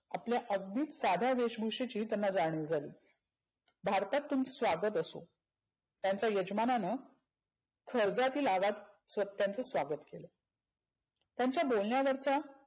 आपल्या अगदीच साध्या वेशभुषेची त्यांना जानिव झाली. भारतात तुमचं स्वागत असो. त्यांचा यजमानानं खळग्यातील आवाज त्यांचं स्वागत केलं. त्यांच्या बोलण्यावरचा